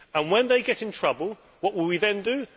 When they get into trouble, what will they then do?